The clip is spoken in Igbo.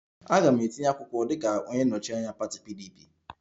Aga m etinye akwụkwọ dịka onye nnọchi anya pati PDP